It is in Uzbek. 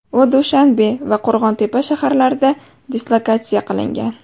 U Dushanbe va Qo‘rg‘ontepa shaharlarida dislokatsiya qilingan.